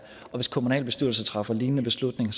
og hvis kommunalbestyrelser træffer lignende beslutninger